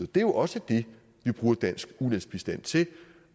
det er jo også det vi bruger dansk ulandsbistand til